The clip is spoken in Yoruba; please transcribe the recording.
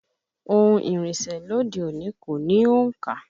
Ohùn ìrìnsẹ̀ lóde òní kò ní òǹkà